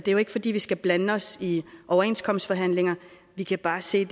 jo ikke fordi vi skal blande os i overenskomstforhandlinger vi kan bare se